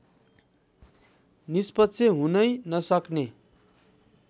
निष्पक्ष हुनै नसक्ने